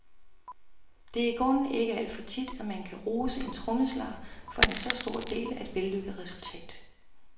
Det er i grunden ikke alt for tit, at man kan rose en trommeslager for en så stor del af et vellykket resultat.